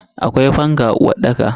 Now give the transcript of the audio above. Akwai fanka a uwarɗaka.